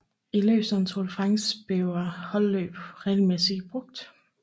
I løb som Tour de France bliver holdløb regelmæssigt brugt